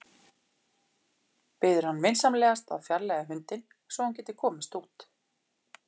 Biður hann vinsamlegast að fjarlægja hundinn svo að hún geti komist út.